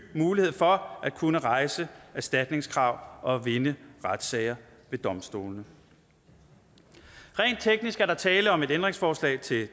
mulighed for at kunne rejse erstatningskrav og vinde retssager ved domstolene rent teknisk er der tale om et ændringsforslag til